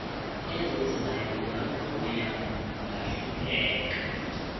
ezizayo ungavuya ungahlupheka